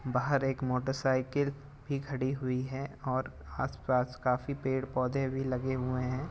बाहर एक मोटरसाइकिल भी खड़ी हुई है और आस पास काफ़ी पेड़ पौधे लगे हुए हैं ।